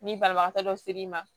Ni banabagatɔ dɔ ser'i ma